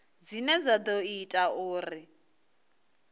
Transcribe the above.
dzine dza ḓo ita uri